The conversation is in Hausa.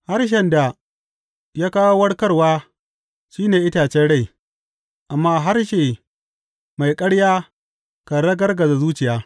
Harshen da ya kawo warkarwa shi ne itacen rai, amma harshe mai ƙarya kan ragargaza zuciya.